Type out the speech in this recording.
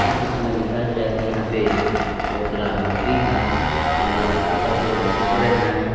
ये चित्र में दिखाया जा रहा है कि यहां पे बहुत सारा मछली है वो लाल कपड़ा के ऊपर ऊपरे है।